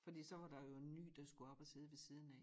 Fordi så var der jo en ny som skulle op og sidde ved siden af